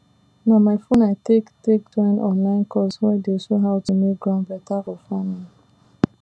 na my phone i take take join online course wey dey show how to make ground better for farming